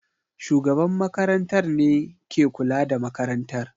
shugaban makarantar ne ke kula da makarantar